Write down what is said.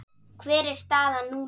Hver er staðan núna?